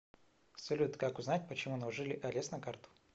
салют как узнать почему наложили арест на карту